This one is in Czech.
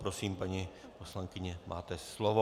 Prosím, paní poslankyně, máte slovo.